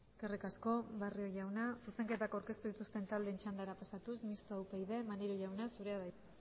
eskerrik asko barrio jauna zuzenketak aurkeztu dituzten taldeen txandara pasatuz mistoa upyd maneiro jauna zurea da hitza